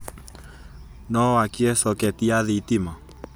no wakie soketi ya thitima